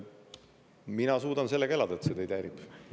Mina suudan sellega elada, see teid häirib.